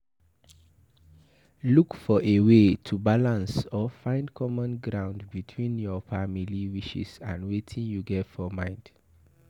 look for a wey to balance or find common ground between your family wishes and wetin you get for mind